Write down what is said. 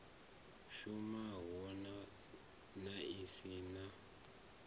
shumaho na i si na